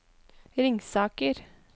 Ringsaker